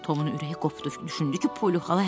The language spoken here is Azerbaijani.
Tomun ürəyi qopdu, düşündü ki, Poli xala hər şeyi bilir.